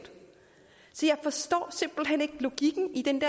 så jeg forstår simpelt hen ikke logikken i den